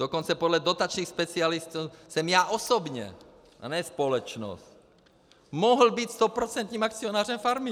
Dokonce podle dotačních specialistů jsem já osobně a ne společnost mohl být stoprocentním akcionářem farmy.